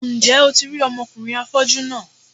Ǹjẹ́ o ti rí ọmọkùnrin afọ́jú náà?